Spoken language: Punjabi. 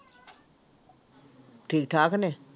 ਠੀਕ ਠਾਕ ਨੇ?